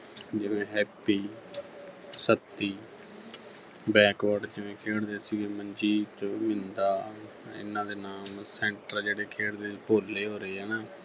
ਜਿਵੇਂ Happy Satti backward ਜਿਵੇਂ ਖੇਡਦੇ ਸੀਗੇ ਮਨਜੀਤ, ਬਿੰਦਾ ਇਹਨਾਂ ਦੇ ਨਾਮ center ਜਿਹੜੇ ਖੇਡਦੇ ਭੋਲੇ ਹੋਰੇ ਹੈ ਨਾ